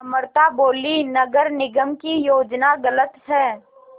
अमृता बोलीं नगर निगम की योजना गलत है